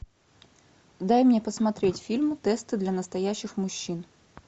дай мне посмотреть фильм тесты для настоящих мужчин